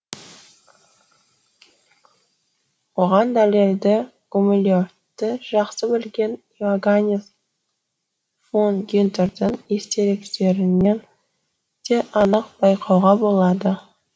оған дәлелді гумилевті жақсы білген иоганнес фон гюнтердің естеліктерінен де анық байқауға болады